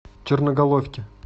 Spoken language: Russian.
черноголовке